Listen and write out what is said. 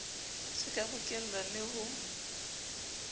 se ka bokellwa le ho